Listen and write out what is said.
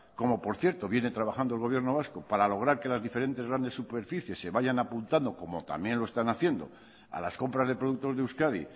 como por cierto viene trabajando el gobierno vasco para lograr que las diferentes grandes superficies se vayan apuntando como también lo están haciendo a las compras de productos de euskadi